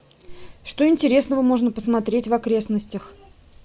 что интересного можно посмотреть в окрестностях